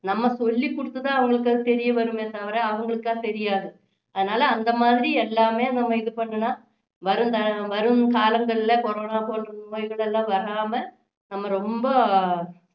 நம்ம சொல்லி குடுத்து தான் அவங்களுக்கு அது தெரிய வருமே தவிர அவங்களுக்கா தெரியாது அதனால அந்த மாதிரி எல்லாமே நம்ம இது பண்ணினா வரும் தல~ வரும் காலங்களில கொரோனா போன்ற நோய்கள் எல்லாம் வராம நாம ரொம்ப